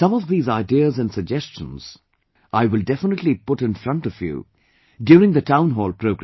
Some of these ideas and suggestions I will definitely put in front of you during the Town Hall program